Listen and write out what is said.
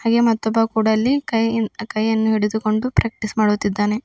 ಗೆ ಮತ್ತೊಬ್ಬ ಕೂಡ ಇಲ್ಲಿ ಕೈಯನ್ ಕೈಯನ್ನು ಹಿಡಿದುಕೊಂಡು ಪ್ರಾಕ್ಟೀಸ್ ಮಾಡುತ್ತಿದ್ದಾನೆ.